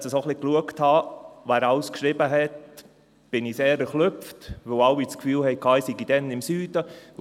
Als ich mir dort die eingegangenen Mails angeschaute, erschrak ich sehr, weil alle das Gefühl hatten, ich sei dann im Süden gewesen.